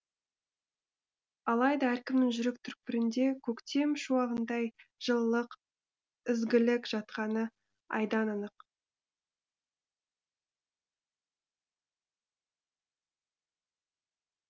алайда әркімнің жүрек түкпірінде көктем шуағындай жылылық ізгілік жатқаны айдан анық